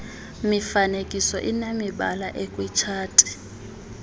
mifanekiso inemibala ekwitshati